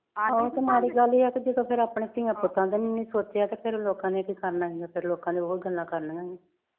ਆਹੋ ਤੇ ਮਾੜੀ ਗੱਲ ਐ ਕਿ ਜਦੋਂ ਫਿਰ ਆਪਣੇ ਧੀਆਂ ਪੁੱਤਾਂ ਦਾ ਨੀ ਸੋਚਿਆ ਤੇ ਫਿਰ ਲੋਕਾਂ ਨੇ ਕੀ ਕਰਨਾ ਈ ਓ ਲੋਕਾਂ ਨੇ ਫਿਰ ਉਹ ਗੱਲਾਂ ਕਰਨੀਆਂ